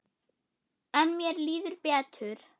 En mér líður betur.